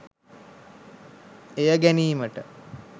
එය ගැනීමට